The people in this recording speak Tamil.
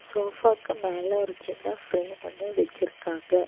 சோஃபாக்கு மேல ஒரு சின்ன ஃபிரேம் ஒன்னு வச்சிருக்காங்க.